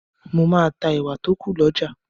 Mo máa ta ẹ̀wà tó kù lọ́jà.